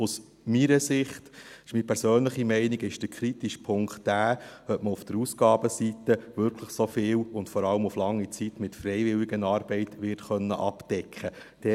Aus meiner Sicht, dies ist meine persönliche Meinung, ist der kritische Punkt der, ob man auf der Ausgabenseite wirklich so viel und vor allem auf lange Zeit mit Freiwilligenarbeit wird abdecken können.